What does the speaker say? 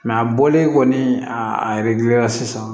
a bɔlen kɔni a a yɛrɛgili la sisan